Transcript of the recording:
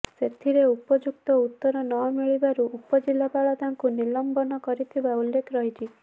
ସେଥିରେ ଉପଯୁକ୍ତ ଉତ୍ତର ନମିଳିବାରୁ ଉପଜିଲାପାଳ ତାଙ୍କୁ ନିଲମ୍ବନ କରିଥିବାର ଉଲ୍ଲେଖ ରହିଛି